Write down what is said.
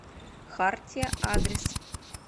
хартия адрес